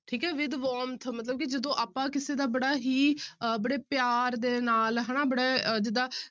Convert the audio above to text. ਠੀਕ ਹੈ with warmth ਮਤਲਬ ਕਿ ਜਦੋਂ ਆਪਾਂ ਕਿਸੇ ਦਾ ਬੜਾ ਹੀ ਅਹ ਬੜੇ ਪਿਆਰ ਦੇ ਨਾਲ ਹਨਾ ਬੜੇ ਜਿੱਦਾਂ